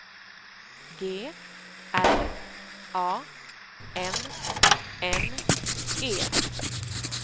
G R A N N E